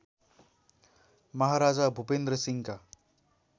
महाराजा भूपेन्‍द्र सिंहका